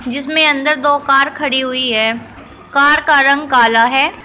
जिसमें अंदर दो कार खड़ी हुई है कार का रंग काला है।